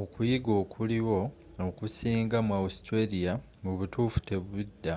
okuyiga okuliwo okusinga mu australia mubutuffu tebidda